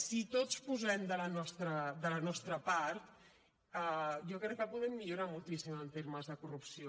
si tots posem de la nostra part jo crec que podem millorar moltíssim en termes de corrupció